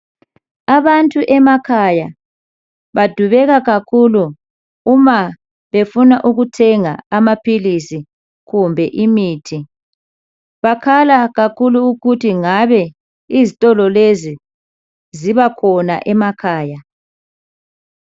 abantu emakhaya badubeka kakhulu uma befuna ukuthenga ama philisi kumbe imithi bakhala kakhulu ukuthi ngabe izitolo lezi zibakhona emakhaya